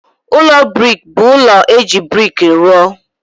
Ụlọ brik bụ ụlọ e ji brik rụọ.